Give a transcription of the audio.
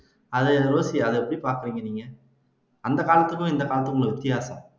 அதை ரோஸி எப்படி பாக்கறீங்க நீங்க அந்த காலத்துக்கும் இந்த காலத்துக்கும் உள்ள வித்தியாசம்